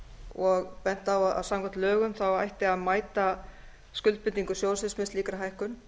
og bent á að samkvæmt lögum ætti að mæta skuldbindingum sjóðsins með slíkri hækkun